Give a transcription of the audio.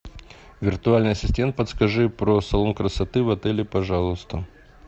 виртуальный ассистент подскажи про салон красоты в отеле пожалуйста